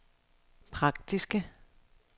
praktiske